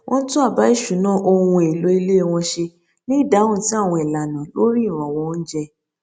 wọn tún àbá ìṣúná ohun èlò ilé wọn ṣe ní ìdáhùn sí àwọn ìlànà lórí ìrànwọ oúnjẹ